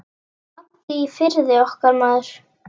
Addi í Firði, okkar maður.